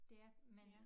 Det er men